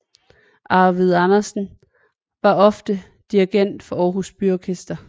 Arvid Andersen var ofte dirigent for Aarhus Byorkester